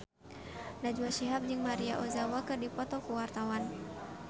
Najwa Shihab jeung Maria Ozawa keur dipoto ku wartawan